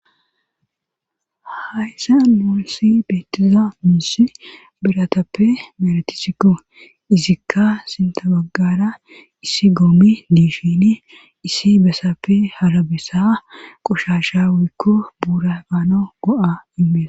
hayssa nusi beetiza miishi biratappe meretisikko izikka sintabaggara issi goomi diishini issi besappe harabessa qoshasha wikko buurabaano go7a inmeesa